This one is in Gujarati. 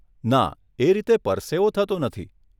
ના એ રીતે પરસેવો થતો નથી.